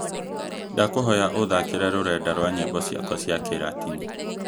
ndakuhoya uthakire rurenda rwa nyĩmbo ciakwa cia Kĩlatini